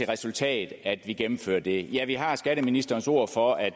resultat at vi gennemfører det ja vi har skatteministerens ord for at